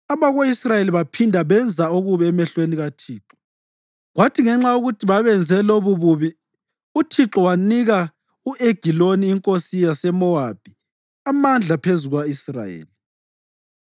Abako-Israyeli baphinda benza okubi emehlweni kaThixo, kwathi ngenxa yokuthi babenze lobububi uThixo wanika u-Egiloni inkosi yaseMowabi amandla phezu kuka-Israyeli.